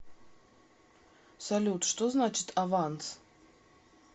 салют что значит аванс